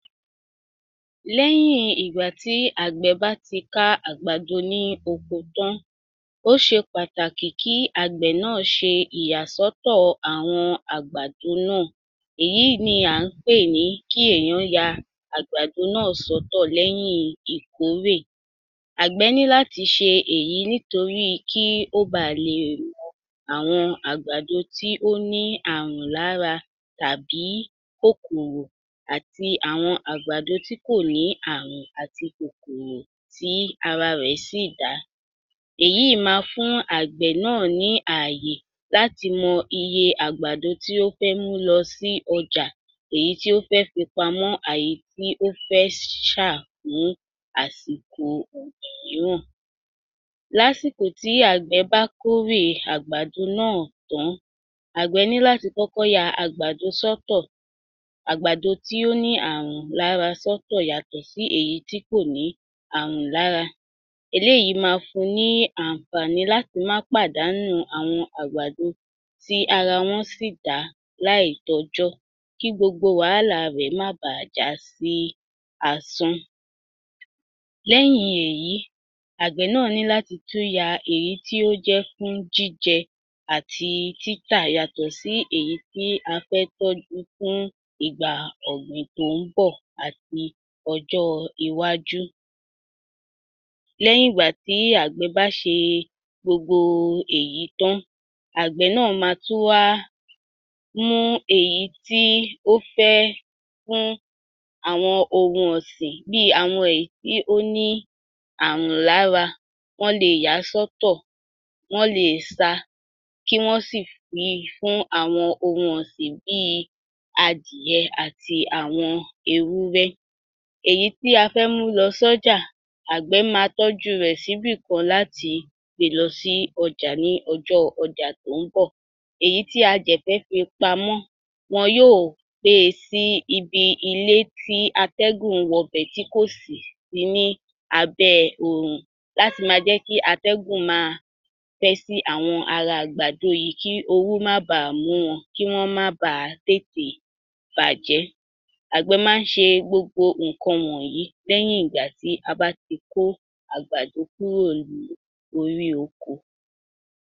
Lẹ́yìn ìgbà tí àgbẹ̀ bá ti ká àgbàdo ní oko tán, ó ṣe pàtàkì kí àgbẹ̀ náà ṣe ìyàsọ́tọ̀ àwọn àgbàdo náà, èyí ni à ń pè ní kí èèyàn ya àgbàdo náà sọ́tọ̀ lẹ́yìn ìkórè. Àgbẹ̀ ní láti ṣe èyí nítorí kí ó baà lè mọ àwọn àgbàdo tí wọ́n ní àrùn lára tàbí kókòrò àti àwọn àgbàdo tí kò ní àrùn àti kòkòrò tí ara rẹ̀ sì dá. Èyí máa fún àgbẹ̀ náà ní àyè láti mọ iye àgbàdo tí ó fẹ́ mú lọ sí ọjà, èyí tí ó fẹ́ fi pamọ́ àyí tí ó fẹ́ ṣà mú àsìko míràn. Lásìkò tí àgbẹ̀ bá kórè àgbàdo náà tán, àgbẹ̀ ní láti kọ́kọ́ ya àgbàdo sọ́tọ̀, àgbàdo tí ó ní àrùn lára sọ́tọ̀ yàtọ̀ sí èyí tí kò ní àrùn lára. Eléyìí ma fún ní àǹfààní láti má pàdánù àwọn àgbàdo tí ara wọn ṣì dá láìtọ́jọ́ kí gbogbo wàhálà rẹ̀ má baà já sí asán. Lẹ́yìn èyí àgbẹ̀ náà ní láti tún ya èyí tí ó jẹ́ fún jíjẹ àti títà yàtọ̀ sí èyí tí a fẹ́ tọ́jú fún ìgbà ọ̀gbìn tó ń bọ̀ àti ọjọ́-iwájú. Lẹ́yìn ìgbà tí àgbẹ̀ bá ṣe gbogbo èyí tán, àgbẹ̀ náà ma tún wá mú èyí tí ó fẹ́ fún àwọn ohun ọ̀sìn bíi àwọn èyí tí ó ní àrùn lára, wọ́n leè yà á sọ́tọ̀, wọ́n leè sa kí wọ́n sì fi fún àwọn ohun ọ̀sìn bíi adìyẹ àti àwọn ewúrẹ́. Èyí tí a fẹ́ mú lọ sọ́jà, àgbẹ̀ ma tọ́jú rẹ̀ síbìkan láti gbe lọ sí ọjà ní ọjọ́ ọjà tó ń bọ̀. Èyí tí a dẹ̀ fẹ́ fi pamọ́, wọn yóò gbé e sí ibi ilé tí atẹ́gùn ń wọbẹ̀ tí kò sí ní abẹ́ oòrùn láti ma jẹ́ kí atẹ́gùn ma fẹ́ sí ara agbàdo yìí kí oru má baà mú wọn; kí wọ́n má baà tètè bàjẹ́. Àgbẹ̀ máa ń ṣe gbogbo nǹkan wọ̀nyìí lẹ́yìn ìgbà tí a bá ti kó àgbàdo kúrò ní orí oko.